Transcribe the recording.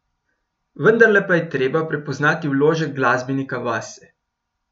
Vendarle pa je treba prepoznavati vložek glasbenika vase.